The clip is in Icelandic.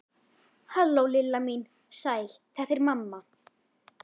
Halló, Lilla mín, sæl þetta er mamma.